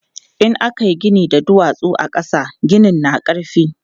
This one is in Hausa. In aka yi gini da duwatsu a ƙasa, ginin na ƙarfi.